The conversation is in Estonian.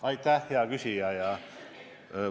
Aitäh, hea küsija!